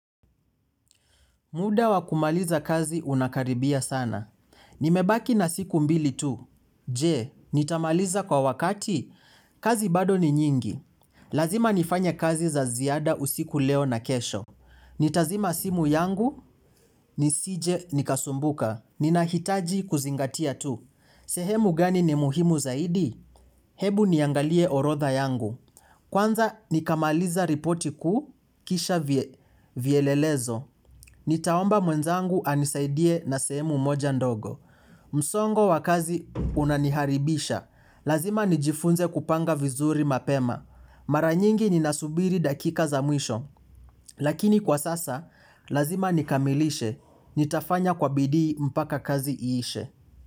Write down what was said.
Muda wa kumaliza kazi unakaribia sana. Nimebaki na siku mbili tu. Je, nitamaliza kwa wakati. Kazi bado ni nyingi. Lazima nifanye kazi za ziada usiku leo na kesho. Nitazima simu yangu. Nisije nikasumbuka. Ninahitaji kuzingatia tu. Sehemu gani ni muhimu zaidi? Hebu niangalie orodha yangu. Kwanza nikamaliza ripoti kuu kisha vielelezo. Nitaomba mwenzangu anisaidie na sehemu moja ndogo. Msongo wakazi unaniharibisha. Lazima nijifunze kupanga vizuri mapema. Maranyingi ninasubiri dakika za mwisho. Lakini kwa sasa, lazima nikamilishe. Nitafanya kwa bidii mpaka kazi iishe.